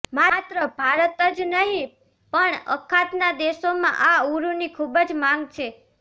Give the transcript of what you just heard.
માત્ર ભારત જ નહીં પણ અખાતના દેશોમાં આ ઉરુની ખૂબ માગ છે